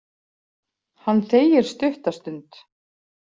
Hann þegir stutta stund.